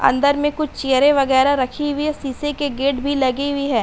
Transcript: अंदर में कुछ चेयरे वगेरा रकी हुई है। शीशे की गेट भी लगी हुवी है।